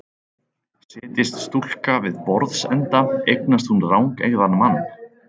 Setjist stúlka við borðsenda eignast hún rangeygðan mann.